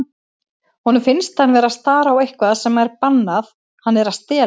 Honum finnst hann vera að stara á eitthvað sem er bannað, hann er að stelast.